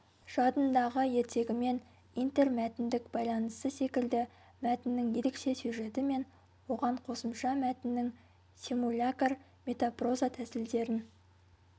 жадындағы ертегімен интермәтіндік байланысы секілді мәтіннің ерекше сюжеті мен оған қосымша мәтіннің симулякр метапроза тәсілдерін